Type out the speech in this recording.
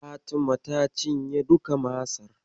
Fatima ta cinye duka Masar.